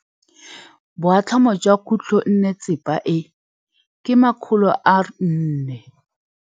Boatlhamô jwa khutlonnetsepa e, ke 400.